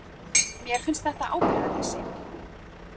Mér finnst þetta ábyrgðarleysi!